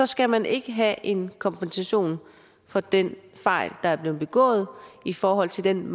skal man ikke have en kompensation for den fejl der er blevet begået i forhold til den